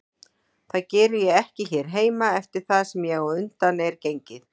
Það geri ég ekki hér heima eftir það sem á undan er gengið.